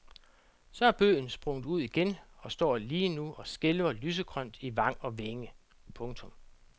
Så er bøgen sprunget ud igen og står lige nu og skælver lysegrønt i vang og vænge. punktum